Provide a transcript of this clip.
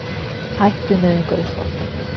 Hætt við nauðungaruppboð